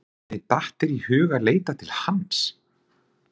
Hvernig datt þér í hug að leita til hans?